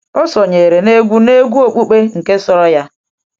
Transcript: ọ sonyeere n’egwu na egwu okpukpe nke soro ya.